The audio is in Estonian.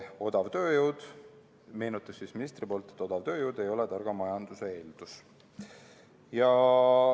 Ministri meenutus: odav tööjõud ei ole targa majanduse eeldus.